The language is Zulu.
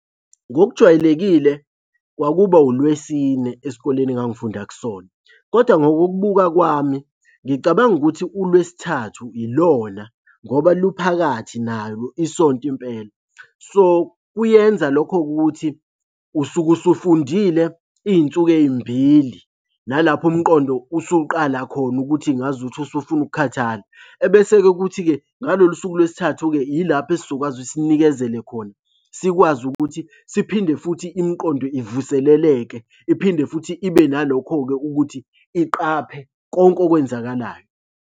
Ngokujwayelekile kwakuba uLwesine esikoleni engangifunda kusona, kodwa ngokukubuka kwami ngicabanga ukuthi uLwesithathu ilona ngoba luphakathi nalo isonto impela. So, kuyenza lokho-ke ukuthi usuke usufundile iy'nsuku ey'mbili, nalapho umqondo usuqala khona ukuthi ngazu ukuthi usufuna ukukhathala. Ebese-ke kuthi-ke ngalolu suku lwesithathu-ke ilapho esizokwazi ukuthi sinikezele khona. Sikwazi ukuthi siphinde futhi imiqondo ivuseleleke, iphinde futhi ibe nalokho-ke ukuthi iqaphe konke okwenzakalayo.